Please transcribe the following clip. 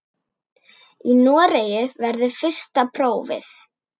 Í Noregi verður fyrsta prófið.